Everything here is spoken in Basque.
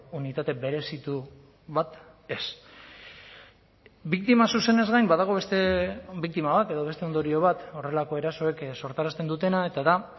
unitate berezitu bat ez biktima zuzenez gain badago beste biktima bat edo beste ondorio bat horrelako erasoek sortarazten dutena eta da